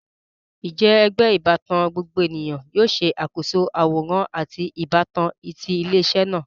Njẹ ẹgbẹ ibatan gbogbo eniyan yoo ṣakoso aworan ati ibatan ti ile-iṣẹ naa?